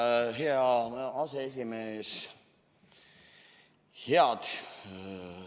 Tänan, hea aseesimees!